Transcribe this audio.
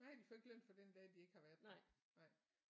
Nej de får ikke løn for den dag de ikke har været der nej